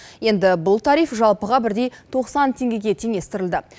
енді бұл тариф жалпыға бірдей тоқсан теңгеге теңестірілді